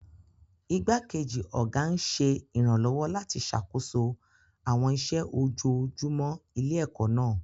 Igbákejì ọ̀gá ń ṣe ìrànlọ́wọ́ láti ṣàkóso àwọn iṣẹ́ ojoojúmọ́ ilé-ẹ̀kọ́ náà.